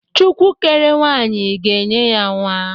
Chukwu kere nwaanyị ga-enye ya nwa.